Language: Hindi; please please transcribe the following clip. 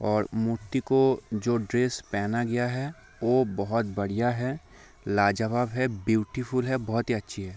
और मूर्ति को जो ड्रेस पहना गया है वो बहोत बढ़िया है लाजवाब है ब्यूटीफुल है बहुत ही अच्छी है।